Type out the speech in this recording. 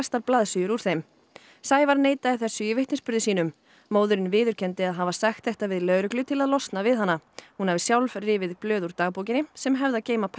Sævar neitaði þessu í vitnisburði sínum móðirin viðurkenndi að hafa sagt þetta við lögreglu til að losna við hana hún hafi sjálf rifið blöð úr dagbókinni sem hefðu að geyma persónuleg atriði